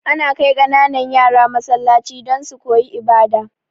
Ana kai kananan yara Masallaci don su koyi ibada